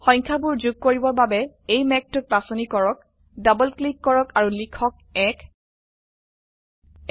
সংখ্যাবোৰ যোগ কৰিবৰ বাবে এই মেঘটোক বাচনি কৰক ডবল ক্লিক কৰক আৰু লিখক ১